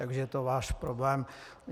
Takže je to váš problém.